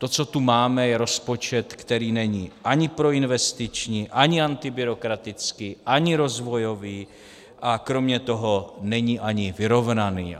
To, co tu máme, je rozpočet, který není ani proinvestiční, ani antibyrokratický, ani rozvojový a kromě toho není ani vyrovnaný.